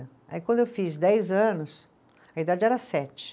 Aí quando eu fiz dez anos, a idade era sete.